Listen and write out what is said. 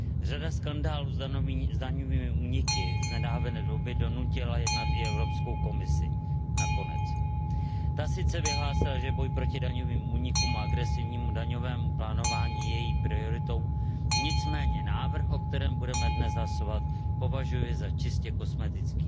Řada skandálů s daňovými úniky z nedávné doby donutila jednat i Evropskou komisi, nakonec. Ta sice vyhlásila, že boj proti daňovým únikům a agresivnímu daňovému plánovaní je její prioritou, nicméně návrh, o kterém budeme dnes hlasovat, považuji za čistě kosmetický.